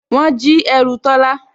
Wọ́n jí ẹrù Tọ́lá